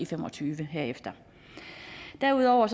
fem og tyve herefter derudover